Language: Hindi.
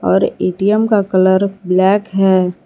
और ए_टी_एम का कलर ब्लैक है।